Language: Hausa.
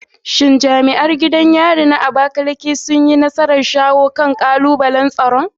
Shin jami'an gidan yarin na Abakaleke sun yi nasarar shawo kan kalubalen tsaron?